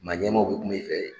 Maaɲɛmaw bɛ kuma i fɛ